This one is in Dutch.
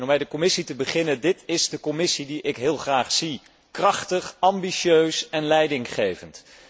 Om met de Commissie te beginnen. Dit is de Commissie die ik heel graag zie, krachtig, ambitieus en leidinggevend.